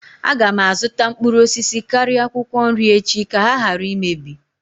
Aga m azụta mkpụrụ osisi karịa akwụkwọ nri echi ka ha ghara imebi